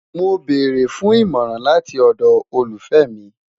Mo beere fun imọran lati ọdọ olufẹ mi